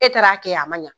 E taara kɛ a ma ɲa